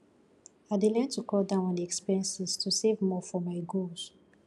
i dey learn to cut down on expenses to save more for my goals